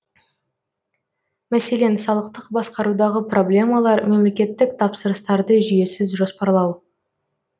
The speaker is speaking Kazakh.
мәселен салықтық басқарудағы проблемалар мемлекеттік тапсырыстарды жүйесіз жоспарлау